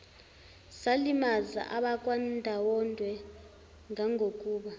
salimaza abakwandwandwe ngangokuba